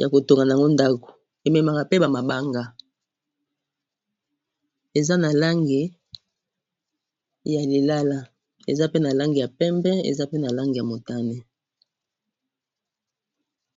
ya kotonga a yango ndako ememaka pe bamabanga eza na langi ya lilala eza pe na langi ya pembe eza pe na langi ya motane